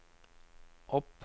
opp